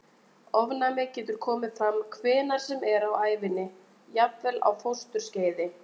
Ofnæmi getur komið fram hvenær sem er á ævinni, jafnvel á fósturskeiði.